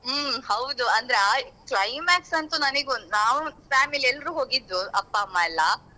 ಹ್ಮ್ ಹೌದು ಅಂದ್ರೆ ಅ climax ಅಂತು ನನಿಗೊಂದು ನಾವ್ family ಎಲ್ರು ಹೋಗಿದ್ವು ಅಪ್ಪ ಅಮ್ಮ ಎಲ್ಲ.